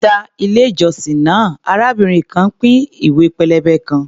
Níta ilé-ìjọsìn náà, arábìnrin kan ń pín ìwé pélébé kan.